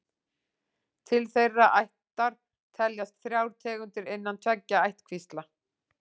Til þeirrar ættar teljast þrjár tegundir innan tveggja ættkvísla.